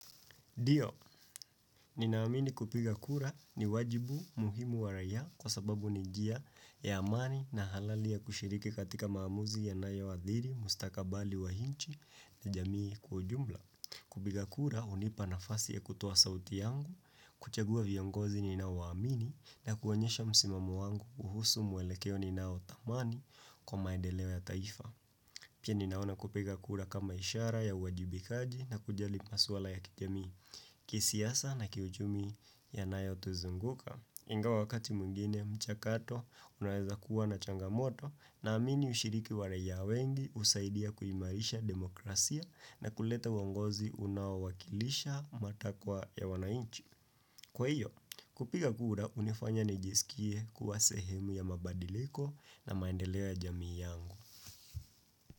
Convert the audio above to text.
Ndio, ninaamini kupiga kura ni wajibu muhimu wa raiya kwa sababu ni njia ya amani na halali ya kushiriki katika maamuzi yanayo athiri, mustakabali wa inchi ni jamii kwa ujumla. Kupiga kura, hunipa nafasi ya kutoa sauti yangu, kuchagua viongozi ni nao waamini na kuonyesha msimamo wangu kuhusu mwelekeo ni nao tamani kwa maendeleo ya taifa. Pia ninaona kupiga kura kama ishara ya uwajibikaji na kujali maswala ya kijamii kisiasa na kiuchumi yanayotuzunguka. Ingawa wakati mwingine mchakato unaweza kuwa na changamoto na amini ushiriki wa raiya wengi husaidia kuimarisha demokrasia na kuleta uongozi unaowakilisha matakwa ya wananchi. Kwa hiyo kupiga kura hunifanya nijisikie kuwa sehemu ya mabadiliko na maendeleo ya jamii yangu.